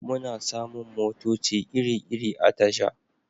Muna samun motoci iri-iri a tasha